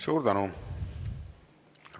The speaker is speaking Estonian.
Suur tänu!